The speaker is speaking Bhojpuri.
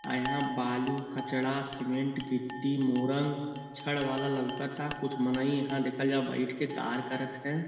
अ यहाँ बालू कचड़ा सीमेंट गिट्टी मोरन छड़ वाला लउकता। कुछ मनइ यहाँ देखले जा बैठ के कार करत है।